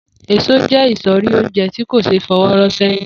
Èso jé̩ ìsò̩rí oúnje̩ tí kò s̩e é fo̩wó̩ ró̩ sé̩yìn